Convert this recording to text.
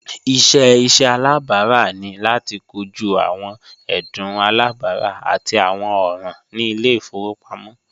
Iṣẹ iṣẹ alabara ni lati koju awọn ẹdun alabara ati awọn ọran ni ile-ifowopamọ